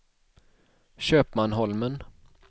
Köpmanholmen